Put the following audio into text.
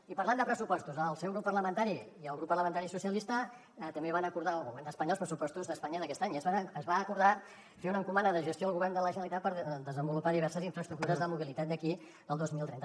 i parlant de pressupostos el seu grup parlamentari i el grup parlamentari socialistes també van acordar amb el govern d’espanya els pressupostos d’espanya d’aquest any i es va acordar fer un encomana de gestió al govern de la generalitat per desenvolupar diverses infraestructures de mobilitat d’aquí al dos mil trenta